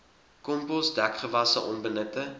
kompos dekgewasse onbenutte